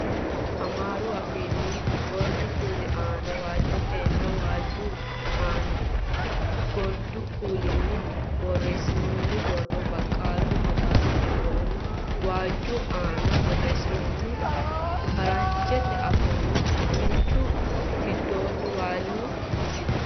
Amaaru afiinni gordu kuuli aana waajjotenninna waajju aana gordu kuulinni borreessinoonni borro, baqqalu magaali giddonna waajju aana borreessinoonni faranjete afoonna dooyichu giddo waaliyu misile.